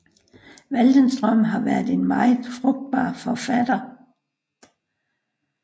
Waldenström har været en meget frugtbar forfatter